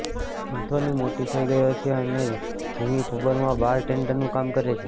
Anthony મોટો થઈ ગયો છે અને જિમી પબમાં બાર ટેંડરનુ કામ કરે છે